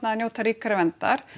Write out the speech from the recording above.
að njóta ríkari verndar